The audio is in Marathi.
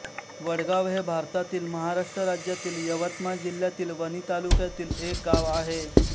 वडगाव हे भारतातील महाराष्ट्र राज्यातील यवतमाळ जिल्ह्यातील वणी तालुक्यातील एक गाव आहे